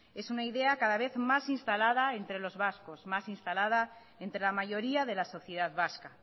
es una idea cada vez más instalada entre los vascos más instalada entre la mayoría de la sociedad vasca